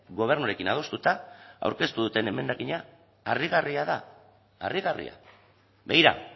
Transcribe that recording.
gobernuarekin adostuta aurkeztu duten emendakina harrigarria da harrigarria begira